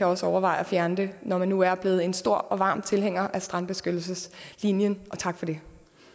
også overveje at fjerne det når man nu er blevet en stor og varm tilhænger af strandbeskyttelseslinjen og tak for det